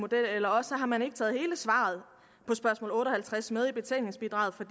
model eller også har man ikke taget hele svaret på spørgsmål otte og halvtreds med i betænkningsbidraget for